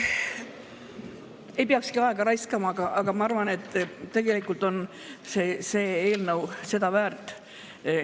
Ei peakski aega raiskama, aga ma arvan, et tegelikult on see eelnõu seda väärt.